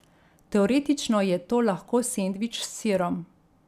Teoretično je to lahko sendvič s sirom.